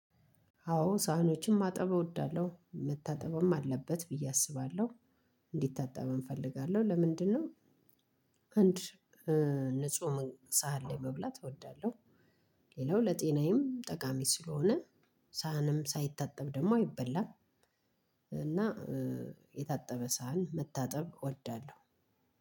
አዎ ሳህኖችን ማጠብ እወዳለሁ መታጠበም አለበት ብዬ አስባለሁ እንዲታጠበም እፈልጋለሁ። ለምንድነው? አንድ ንጹህ ሳህን ላይ መብላት እወዳለሁ። ሌላው ለጤናዬም ጠቃሚ ስለሆነ። ሳህንም ሳይታጠብ ደግሞ አይበላም። እና የታጠበ ሳህን መታጠብ እወዳለሁ።